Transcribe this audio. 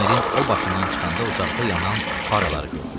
Tunelin o başından çıxanda uzaqda yanan faraları gördülər.